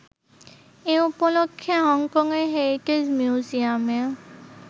এ উপলক্ষ্যে হংকংয়ের হেরিটেজ মিউজিয়ামে